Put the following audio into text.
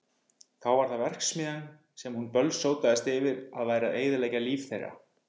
Þá var það verksmiðjan sem hún bölsótaðist yfir að væri að eyðileggja líf þeirra.